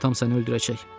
Atam səni öldürəcək.